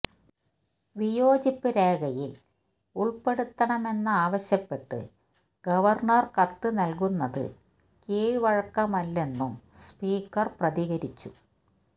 വിയോജിപ്പ് രേഖയിൽ ഉൾപ്പെടുത്തണമെന്നാവശ്യപ്പെട്ട് ഗവർണർ കത്ത് നൽകുന്നത് കീഴ്വഴക്കമല്ലെന്നും സ്പീക്കർ പ്രതികരിച്ചു